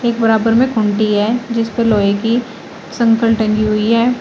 बराबर में खूंटी है जिस पर लोहे की संकल टंगी हुई है।